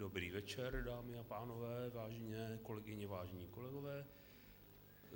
Dobrý večer dámy a pánové, vážené kolegyně, vážení kolegové.